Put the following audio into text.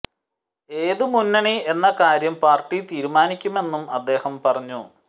ഏത് മുന്നണി എന്ന കാര്യം പാര്ട്ടി തീരുമാനിക്കുമെന്നും അദ്ദേഹം പറഞ്ഞു